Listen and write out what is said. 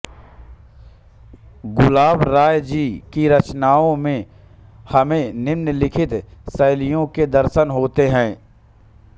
गुलाब राय जी की रचनाओं में हमें निम्नलिखित शैलियों के दर्शन होते हैं